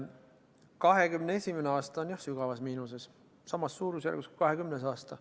2021. aasta on jah sügavas miinuses, samas suurusjärgus kui 2020. aasta.